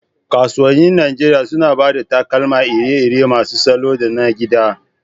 Kasuwannin Najeriya suna ba da takalma iri-iri masu salo da na gida.